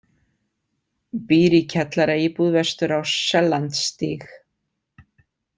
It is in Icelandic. Býr í kjallaraíbúð vestur á Sellandsstíg